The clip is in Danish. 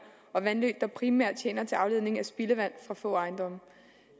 og vandløb der primært tjener til afledning af spildevand fra få ejendomme